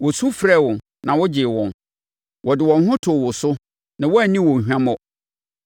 Wɔsu frɛɛ wo na wogyee wɔn, wɔde wɔn ho too wo so na woanni wɔn hwammɔ.